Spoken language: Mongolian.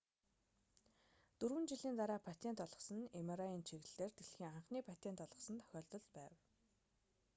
дөрвөн жилийн дараа патент олгосон нь mri-ийн чиглэлээр дэлхийн анхны патент олгосон тохиолдол байна